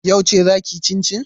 Yauce zaa kiyi cincin?